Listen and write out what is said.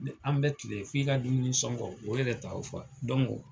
An bɛɛ tun be yen, f'i ka dumuni sɔngɔ o yɛrɛ t'aw fa.